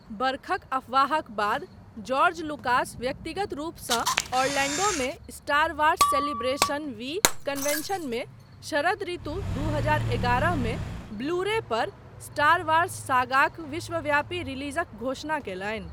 बरखक अफवाहक बाद, जॉर्ज लुकास व्यक्तिगत रूपसँ ऑरलैंडोमे स्टार वार्ससेलिब्रेशन वी कन्वेंशनमे शरद ऋतु दू हजार एगारह मे ब्लू रे पर स्टार वार्स सागाक विश्वव्यापी रिलीजक घोषणा कयलनि।